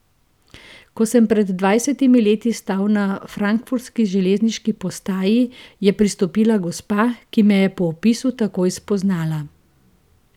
Ko sem pred dvajsetimi leti stal na frankfurtski železniški postaji, je pristopila gospa, ki me je po opisu takoj spoznala.